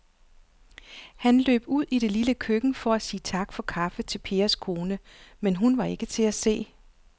Han løb ud i det lille køkken for at sige tak for kaffe til Pers kone, men hun var ikke til at se.